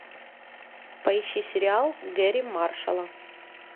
поищи сериал герри маршала